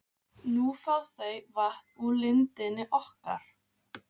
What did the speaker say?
Nú fá þau vatn úr lindinni okkar.